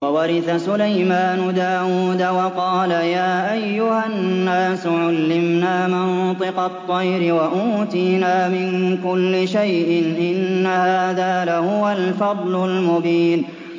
وَوَرِثَ سُلَيْمَانُ دَاوُودَ ۖ وَقَالَ يَا أَيُّهَا النَّاسُ عُلِّمْنَا مَنطِقَ الطَّيْرِ وَأُوتِينَا مِن كُلِّ شَيْءٍ ۖ إِنَّ هَٰذَا لَهُوَ الْفَضْلُ الْمُبِينُ